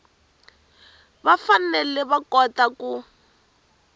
va fanele va kota ku